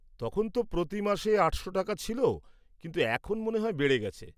তখন তো প্রতি মাসে আটশো টাকা ছিল কিন্তু এখন মনে হয় বেড়ে গেছে।